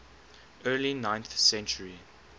early ninth century